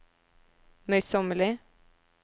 møysommelig